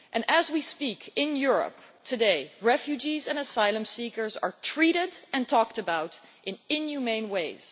As we speak, in Europe today refugees and asylum seekers are treated and talked about in inhumane ways.